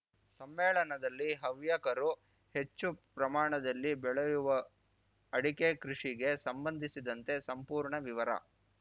ಸಮ್ಮೇಳನದಲ್ಲಿ ಹವ್ಯಕರು ಹೆಚ್ಚು ಪ್ರಮಾಣದಲ್ಲಿ ಬೆಳೆಯುವ ಅಡಿಕೆ ಕೃಷಿಗೆ ಸಂಬಂಧಿಸಿದಂತೆ ಸಂಪೂರ್ಣ ವಿವರ